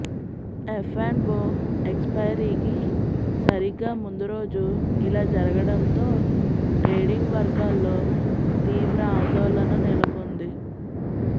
F and O ఎక్స్పైరీకి సరిగ్గా ముందు రోజు ఇలా జరగడంతో ట్రేడింగ్ వర్గాల్లో తీవ్ర ఆందోళన నెలకొంది